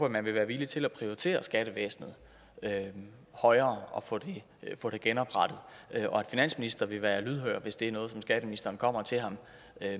at man vil være villig til at prioritere skattevæsenet højere og få det genoprettet og at finansministeren vil være lydhør hvis det er noget som skatteministeren kommer til ham